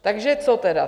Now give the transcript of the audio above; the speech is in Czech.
Takže co tedy?